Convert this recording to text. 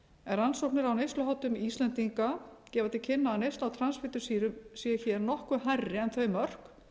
en rannsóknir á neysluháttum íslendinga gefa til kynna að neysla á transfitusýrum séu nokkru hærri en þau mörk